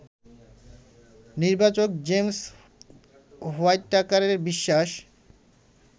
নির্বাচক জেমস হোয়াইটাকারের বিশ্বাস